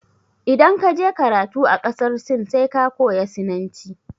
Idan ka je karatu a ƙasar Sin sai ka koya Sinanci.